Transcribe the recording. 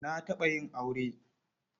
Na taɓa yin aure.